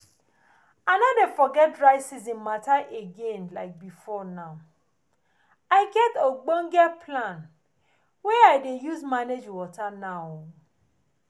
i no dey forget dry season mata again like before now i get ogbonge plan wey i dey use manage water now